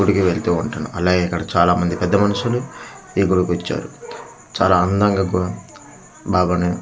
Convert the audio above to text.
గుడికి వెళ్తూ ఉంటాను అలా ఇక్కడ చాలా మంది పెద్ద మనుషులు ఈ గుడికి వచ్చారు చాలా అందంగా గు బాబా ని --